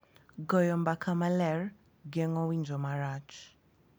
Goyo mbaka maler geng'o winjo marach